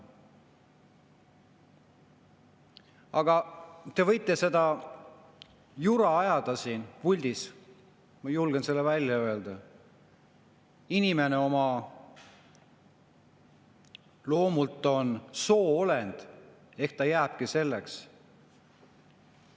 Aga te võite siin puldis ajada seda jura, ma julgen seda välja öelda, kuid inimene on oma loomult soo-olend, ta jääbki selleks.